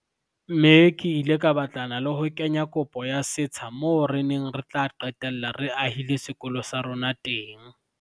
Mme ke ile ka batlana le ho kenya kopo ya setsha moo re neng re tla qetella re ahile sekolo sa rona teng.